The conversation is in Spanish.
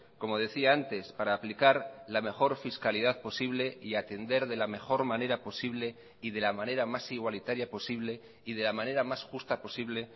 como decía antes para aplicar la mejor fiscalidad posible y atender de la mejor manera posible y de la manera más igualitaria posible y de la manera más justa posible